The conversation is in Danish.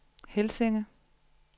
Helsinge